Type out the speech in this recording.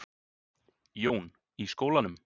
Jón: Í skólanum?